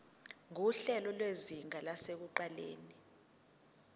nguhlelo lwezinga lasekuqaleni